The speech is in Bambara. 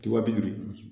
Tuba bi duuru